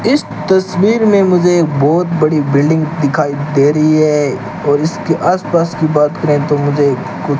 इस तस्वीर में मुझे बहोत बड़ी बिल्डिंग दिखाई दे रही है और इसके आस पास की बात करें तो मुझे कु --